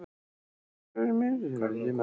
Haukur: Eftir einhvern vissan tíma þá?